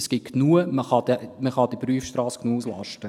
Es gibt genug, man kann die Prüfstrasse genug auslasten.